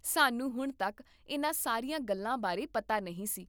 ਸਾਨੂੰ ਹੁਣ ਤੱਕ ਇਨ੍ਹਾਂ ਸਾਰੀਆਂ ਗੱਲਾਂ ਬਾਰੇ ਪਤਾ ਨਹੀਂ ਸੀ